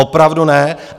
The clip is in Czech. Opravdu ne.